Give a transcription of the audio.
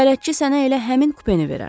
Bələdçi sənə elə həmin kupeni verər.